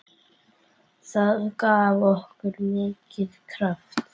Það gaf okkur mikinn kraft.